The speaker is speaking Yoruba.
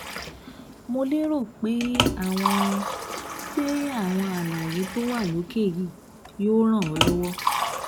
Mo lérò pé àwọn pé àwọn àlàyé tó wà lókè yìí yóò ràn ọ́ lọ́wọ́